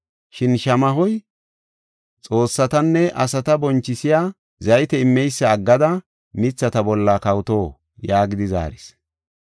Shin shamahoy, ‘xoossatanne asata bonchisiya zayte immeysa aggada mithata bolla kawoto?’ yaagidi zaaris.